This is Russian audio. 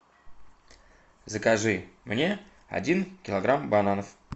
закажи мне один килограмм бананов